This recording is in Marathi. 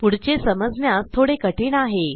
पुढचे समजण्यास थोडे कठीण आहे